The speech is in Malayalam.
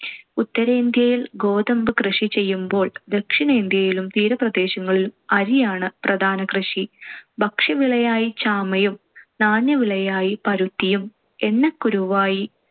ഉത്തരേന്ത്യയിൽ ഗോതമ്പ് കൃഷി ചെയ്യുമ്പോൾ ദക്ഷിണേന്ത്യയിലും തീരപ്രദേശങ്ങളിലും അരിയാണ്‌ പ്രധാനകൃഷി. ഭക്ഷ്യവിളയായി ചാമയും നാണ്യവിളയായി പരുത്തിയും എണ്ണക്കുരുവായി